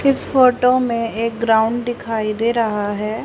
इस फोटो में एक ग्राउंड दिखाई दे रहा है।